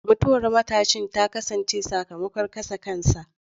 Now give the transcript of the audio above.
Mutuwar matashin ta kasance sakamakon kashe kansa.